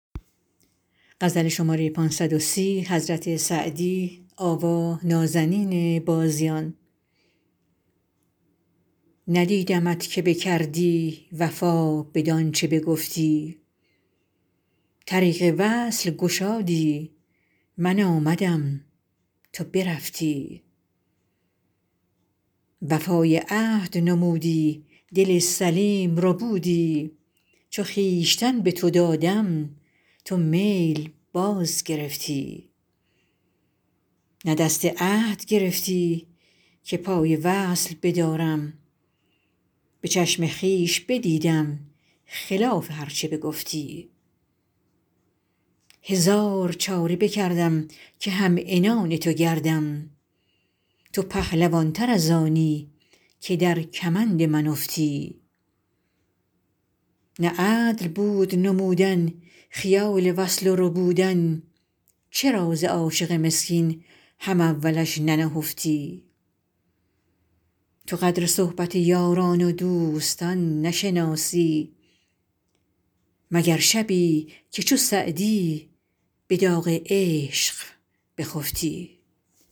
ندیدمت که بکردی وفا بدان چه بگفتی طریق وصل گشادی من آمدم تو برفتی وفای عهد نمودی دل سلیم ربودی چو خویشتن به تو دادم تو میل باز گرفتی نه دست عهد گرفتی که پای وصل بدارم به چشم خویش بدیدم خلاف هر چه بگفتی هزار چاره بکردم که هم عنان تو گردم تو پهلوان تر از آنی که در کمند من افتی نه عدل بود نمودن خیال وصل و ربودن چرا ز عاشق مسکین هم اولش ننهفتی تو قدر صحبت یاران و دوستان نشناسی مگر شبی که چو سعدی به داغ عشق بخفتی